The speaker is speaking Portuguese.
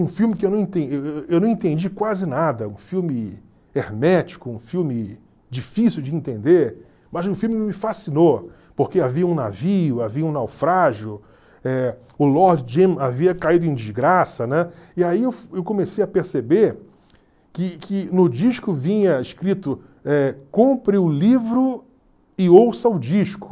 um filme que eu não enten eu não entendi quase nada, um filme hermético, um filme difícil de entender, mas o filme me fascinou, porque havia um navio, havia um naufrágio, eh o Lord Jim havia caído em desgraça, né, e aí eu eu comecei a perceber que que no disco vinha escrito, eh compre o livro e ouça o disco.